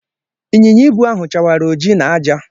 Ịnyịnya ibu ahụ chawara ojii na àjà.